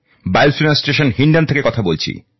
বায়ুসেনা স্টেশন হিন্ডন থেকে কথা বলছি